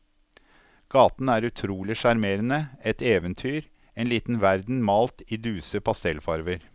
Gaten er utrolig sjarmerende, et eventyr, en liten verden malt i duse pastellfarver.